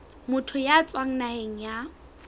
motho ya tswang naheng ya